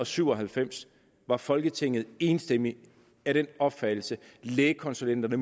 syv og halvfems var folketinget enstemmigt af den opfattelse at lægekonsulenterne